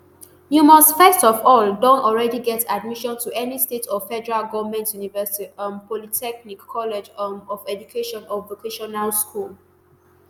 you must first of all don already get admission to any state or federal goment university um polytechnic college um of education or vocational school